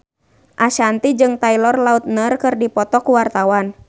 Ashanti jeung Taylor Lautner keur dipoto ku wartawan